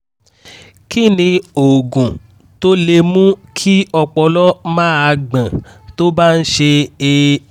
kí ni oògùn tó lè mú kí ọpọlọ máa gbọ́n tó bá ń ṣe é?